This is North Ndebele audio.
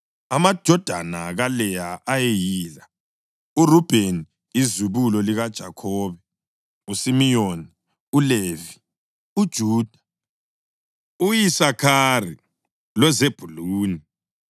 Amadodana kaLeya ayeyila: uRubheni izibulo likaJakhobe, uSimiyoni, uLevi, uJuda, u-Isakhari loZebhuluni.